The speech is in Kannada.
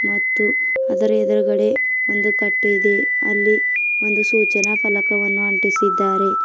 ಮತ್ತು ಅದರ ಎದುರುಗಡೆ ಒಂದು ಕಟ್ಟೆ ಇದೆ ಅಲ್ಲಿ ಒಂದು ಸೂಚನ ಫಲಕವನ್ನು ಅಂಟಿಸಿದ್ದಾರೆ.